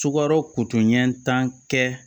Sukaro kotonɲɛ tan kɛ